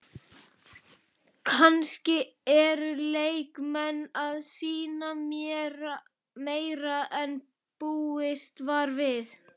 Kannski eru leikmenn að sýna meira en búist var við?